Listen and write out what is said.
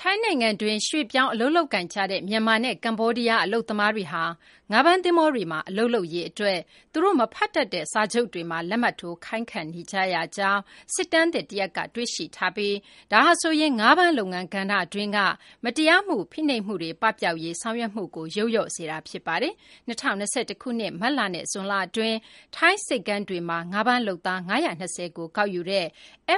ထိုင်းနိုင်ငံတွင်း ရွှေ့ပြောင်း အလုပ်လုပ်ကိုင်နေကြတဲ့ မြန်မာနဲ့ ကမ္ဘောဒီးယား အလုပ်သမားတွေဟာ ငါးဖမ်းသဘောၤတွေမှာ အလုပ်လုပ်ရေး အတွက် သူတို့ မဖတ်တတ်တဲ့ စာချုပ်တွေမှာ လက်မှတ်ထိုးခိုင်းခံနေရကြောင်း စစ်တမ်းသစ် တရပ်က တွေ့ရှိထားပြီး ဒါဟာဆိုရင် ငါးဖမ်းလုပ်ငန်းကဏ္ဍ အတွင်း မတရား ဖိနှိပ်မှုတွေ ပပျောက်ရေး ဆောင်ရွက်မှုကို ယုတ်လျော့စေတာ ဖြစ်ပါတယ်။ ၂၀၂၁ ခုနှစ် မတ်လနဲ့ ဇွန်လ အတွင်း ထိုင်းဆိပ်ကမ်းတွေမှာ ငါးဖမ်း လုပ်သား ၅၂၀ ကို ကောက်ယူတဲ့